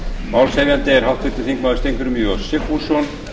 málshefjandi er háttvirtur þingmaður steingrímur j sigfússon